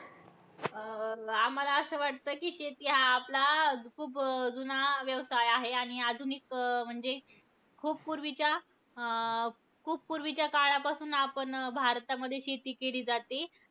अं आम्हाला असं वाटतं की, शेती हा आपला खूप जुना व्यवसाय आहे. आणि आधुनिक म्हणजे खूप पूर्वीच्या, अं खूप पूर्वीच्या काळापासून आपण भारतामध्ये शेती केली जाते.